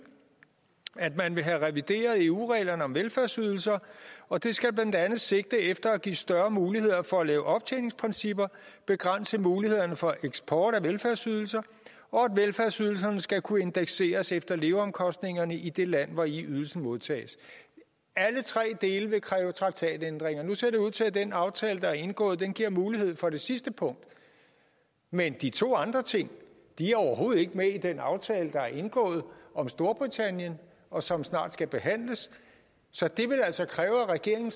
at man vil have revideret eu reglerne om velfærdsydelser og det skal blandt andet sigte efter at give større muligheder for at lave optjeningsprincipper begrænse mulighederne for eksport af velfærdsydelser og at velfærdsydelserne skal kunne indekseres efter leveomkostningerne i det land hvori ydelsen modtages alle tre dele vil kræve traktatændringer nu ser det ud til at den aftale der er indgået giver mulighed for det sidste punkt men de to andre ting er overhovedet ikke med i den aftale der er indgået om storbritannien og som snart skal behandles så det vil altså kræve at regeringen